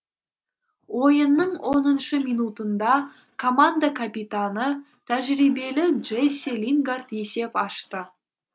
ойынның оныншы минутында команда капитаны тәжірибелі джесси лингард есеп ашты